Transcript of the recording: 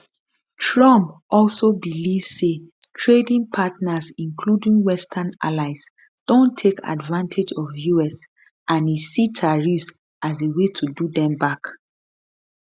trump also believe say trading partners including western allies don take advantage of us and e see tariffs as a way to do dem back